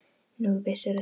Nú, vissir þú það?